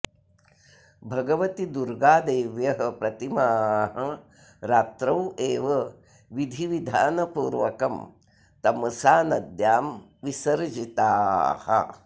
भगवति दुर्गा देव्यः प्रतिमाः रात्रौ एव विधि विधान पूर्वकं तमसा नद्यां विसर्जिताः